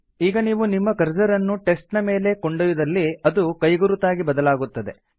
ಈಗ ನೀವು ನಿಮ್ಮ ಕರ್ಸರ್ ಅನ್ನು ಟೆಕ್ಸ್ಟ್ ನ ಮೇಲೆ ಕೊಂಡೊಯ್ದಲ್ಲಿ ಅದು ಕೈಗುರುತಾಗಿ ಬದಲಾಗುತ್ತದೆ